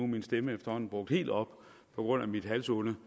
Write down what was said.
min stemme er efterhånden brugt helt op på grund af mit halsonde